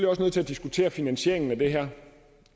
også nødt til at diskutere finansieringen af det her